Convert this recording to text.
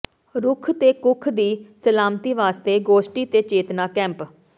ਰੁੱਖ਼ ਤੇ ਕੁੱਖ਼ ਦੀ ਸਲਾਮਤੀ ਵਾਸਤੇ ਗੋਸ਼ਟੀ ਤੇ ਚੇਤਨਾ ਕੈਂਪ